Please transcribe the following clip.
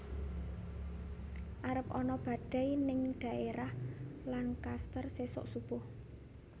Arep ana badai ning daerah Lancaster sesok subuh